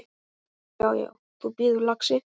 Já, já. þú bíður, lagsi!